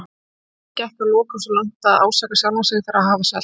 Þegar hann gekk að lokum svo langt að ásaka sjálfan sig fyrir að hafa selt